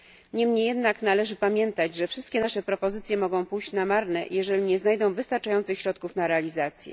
Niemniej jednak należy pamiętać, że wszystkie nasze propozycje mogą pójść na marne, jeżeli nie znajdą wystarczających środków na realizację.